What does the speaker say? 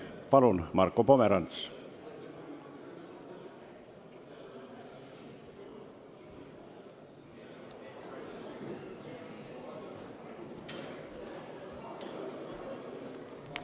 Palun, Marko Pomerants!